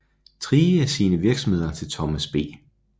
Thrige sine virksomheder til Thomas B